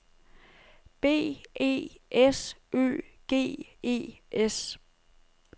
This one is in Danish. B E S Ø G E S